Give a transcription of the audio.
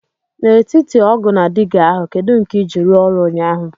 N'etiti ọgu na digá ahu kedu nke i ji ruo oru ụnyahụ?